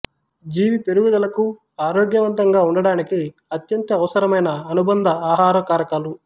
జీవి పెరుగుదలకు ఆరోగ్యవంతంగా ఉండడానికి అత్యంత అవసరమైన అనుబంధ ఆహార కారకాలు